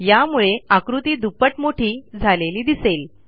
यामुळे आकृती दुप्पट मोठी झालेली दिसेल